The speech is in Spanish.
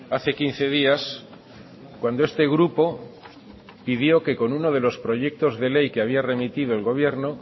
hace quince días cuando este grupo pidió que con uno de los proyectos de ley que había remitido el gobierno